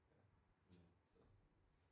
Så